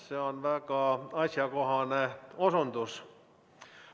See on väga asjakohane osutus.